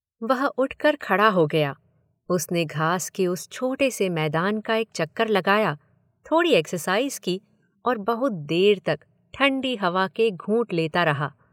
वह उठकर खड़ा हो गया। उसने घास के उस छोटे से मैदान का एक चक्कर लगाया, थोड़ी एक्सरसाइज़ की और बहुत देर तक ठंडी हवा के घूँट लेता रहा।